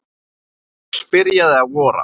Loks byrjaði að vora.